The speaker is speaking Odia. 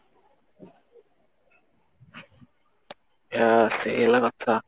ଆଁ ସେଇ ହେଲା କଥା